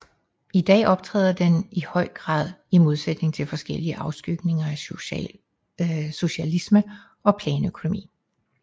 I dag optræder den i høj grad i modsætning til forskellige afskygninger af socialisme og planøkonomi